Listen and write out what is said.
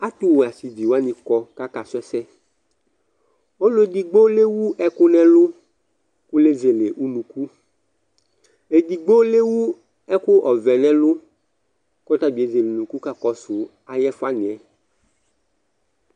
Ɛtuwɛ asiʋɩ wani kɔ k'aka su ɛsɛ Ɔlo edigbo lewu ɛku n'ɛlu ku l'ezele unuku Edigbo l'ewu ɛku ɔʋɛ n'ɛlu k'ɔtabi ezel'unuku kakɔsu ay'ɛfuaniɛ